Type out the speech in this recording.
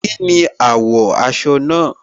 Kínni àwò aso náà?